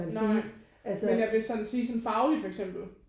Nej men jeg vil sådan sige sådan fagligt for eksempel